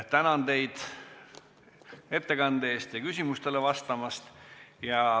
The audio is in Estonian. Tänan teid ettekande eest ja küsimustele vastamast!